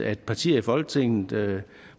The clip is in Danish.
at partier i folketinget